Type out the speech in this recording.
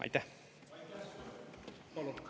Aitäh!